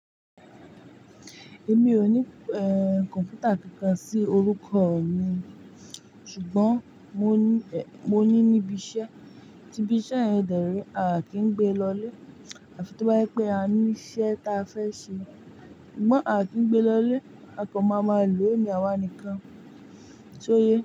Èmi ò ní kọ̀mpútà kankan sí orúkọ mi, ṣùgbọ́n mo ní níbi iṣẹ́, tí ibi iṣẹ́ yẹn dẹ̀ re a kì í gbe lọ ile àfi tó bá yé pé a ní iṣẹ́ ta a fẹ́ ṣe. Ṣùgbọ́n a kì í gbe lo ile, a kàn máa máa lò òní àwa nìkan. Ṣóyẹ?